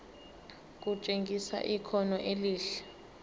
kutshengisa ikhono elihle